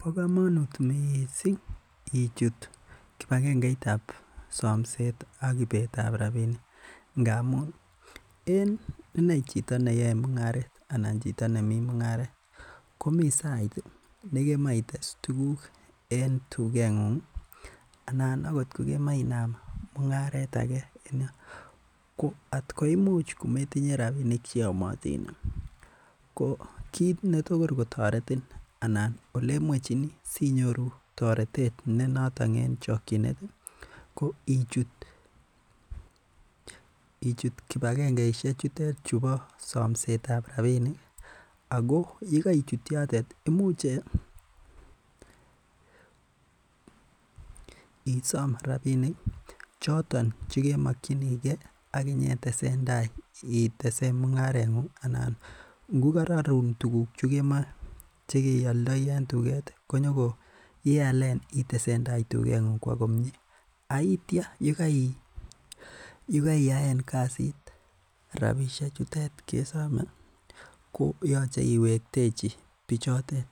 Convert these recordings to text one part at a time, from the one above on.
Bo kamanut missing ichut kibagengeitab samsetab ak I etab rabinik ngamun iene chito neyae mung'aret ih komi sait nekemae ites tuguk en tuget ng'ung anan akot kokemoe Inaam mung'aret age en yoon. Ko atkometinue rabinik cheyamatin ko kit netaretin ko ichut Kibakengeisiek chuton chebo samsetab rabinik ih, ago uekaichut yotet imuche isom rabinik choton che kemakienige itesen mung'aret ng'ung anan ng'u kararun tuguk chekemoe ialdai en tuget aitia uekaiyaen kasit rabisiek chuton kesome ih ko yache iwektechi bichited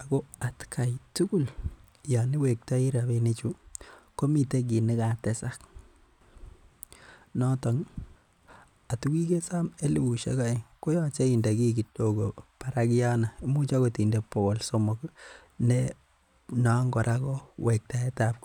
Ako atkai tugul Yoon iwektai rabinik komiten kit nekatesak noton ih at kokikesom elibusiek aeng koyache inde ki kidogo barak yono anan imuch inde bokol somok ih no. Kora ko wektaeetab kokngoi.